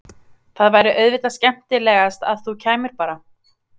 Það væri auðvitað skemmtilegast að þú kæmir bara!